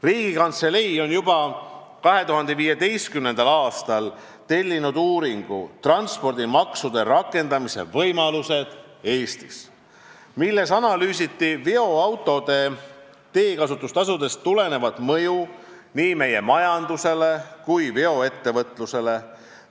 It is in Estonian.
Riigikantselei tellis juba 2015. aastal uuringu "Transpordimaksude rakendamise võimalused Eestis", milles analüüsiti veoautode teekasutustasudest tulenevat mõju nii meie majandusele kui veoettevõtlusele.